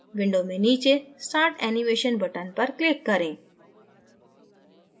window में नीचे start animation button पर click करें